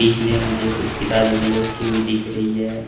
जिसमे मुझे कुछ किताबें भी रखी हुई दिख रही हैं।